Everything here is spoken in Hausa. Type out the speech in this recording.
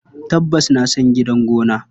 Tabbas na san gidan gona.